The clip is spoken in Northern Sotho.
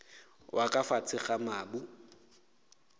wa ka fase ga mabu